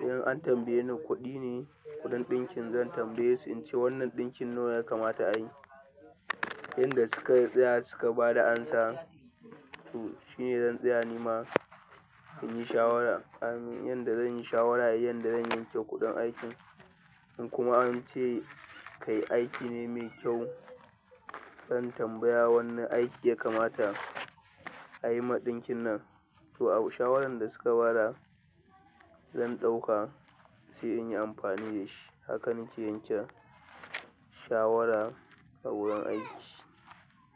In an tambaye ni kuɗi ne kuɗin ɗinkin, zan tambaye su in ce wannan ɗinkin nawa ya kamata a yi. Yanda suka tsaya suka ba da amsa, to shine zan tsaya nima in yi shawara. Amin yanda zan yi shawara, yanda zan yanke kuɗin aikin, in kuma an ce kai aiki ne mai kyau, zan tambaya wanne aiki ya kamata a yi ma ɗinkin nan. To shawaran da suka ba da zan ɗauka sai in yi amfani da shi. Haka nike yanke shawara a wurin aiki.